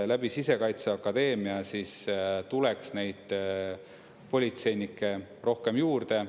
Läbi Sisekaitseakadeemia tuleks neid politseinikke rohkem juurde.